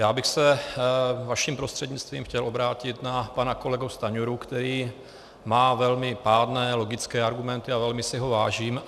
Já bych se vaším prostřednictvím chtěl obrátit na pana kolegu Stanjuru, který má velmi pádné logické argumenty a velmi si ho vážím.